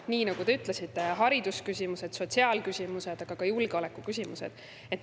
Nii nagu te ütlesite: haridusküsimused, sotsiaalküsimused, aga ka julgeolekuküsimused.